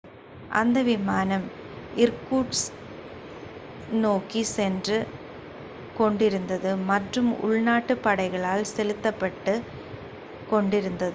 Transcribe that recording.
அந்த விமானம் இர்கூட்ஸ்க் நோக்கிச் சென்று கொண்டிருந்தது மற்றும் உள்நாட்டுப் படைகளால் செலுத்தப் பட்டுக் கொண்டிருந்தது